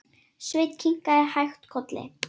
Sveinn kinkaði hægt kolli.